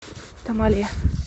тамале